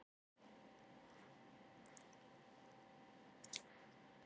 Ég er orðinn svo góður í að skrifa að ég hágræt og tárin streyma.